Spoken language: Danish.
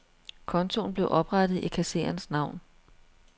Kontoen blev oprettet i kassererens navn.